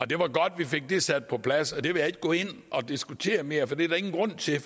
det var godt at vi fik det sat på plads det vil jeg ikke gå ind og diskutere mere for det er der ingen grund til